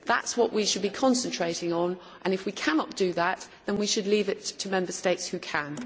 That is what we should be concentrating on and, if we cannot do that, we should leave it to Member States who can.